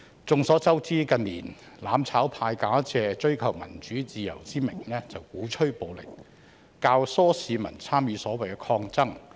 眾所周知，近年"攬炒派"假借追求民主自由之名，鼓吹暴力，教唆市民參與所謂的抗爭。